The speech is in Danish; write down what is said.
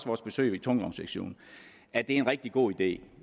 vores besøg i tungvognsektionen at det er en rigtig god idé